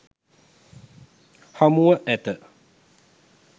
හමුව ඇත.